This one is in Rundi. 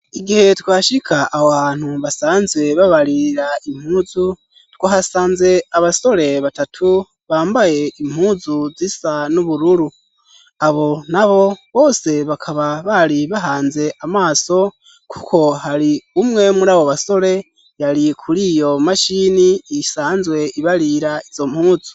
Igihe twashika ab hantu basanzwe babarira impuzu twahasanze abasore batatu bambaye impuzu zisa n'ubururu abo nabo bose bakaba bari bahanze amaso kuko hari umwe muri abo basore yari kuri iyo mashini yisanzwe ibarira izo mpuzu.